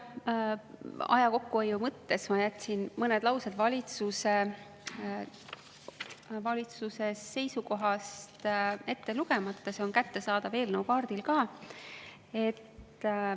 Aja kokkuhoiu mõttes ma jätsin mõned laused valitsuse seisukohast ette lugemata, sest see on kättesaadav eelnõu kaardil ka.